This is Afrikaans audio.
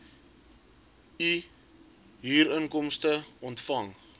u huurinkomste ontvang